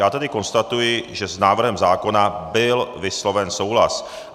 Já tedy konstatuji, že s návrhem zákona byl vysloven souhlas.